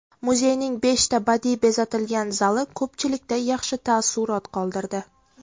Muzeyning beshta badiiy bezatilgan zali ko‘pchilikda yaxshi taassurot qoldirdi.